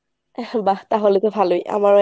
আহ বাহ্ তাহলে তো ভালোই আমারও